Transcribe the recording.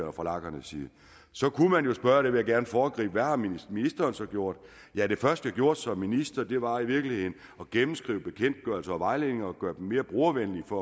og fra lagernes side så kunne man jo spørge og det vil jeg gerne foregribe hvad har ministeren så gjort ja det første jeg gjorde som minister var i virkeligheden at gennemskrive bekendtgørelser og vejledninger og gøre dem mere brugervenlige for